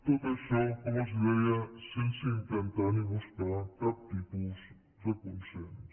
tot això com els deia sense intentar ni buscar cap tipus de consens